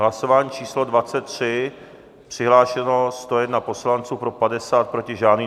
Hlasování číslo 23, přihlášeno 101 poslanců, pro 50, proti žádný.